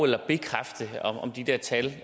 eller bekræfte om de der tal